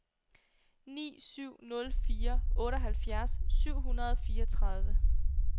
ni syv nul fire otteoghalvfjerds syv hundrede og fireogtredive